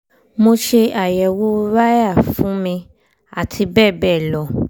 mo ṣe àyẹwò rai fún mi àti bẹ́ẹ̀ bẹ́ẹ̀ lọ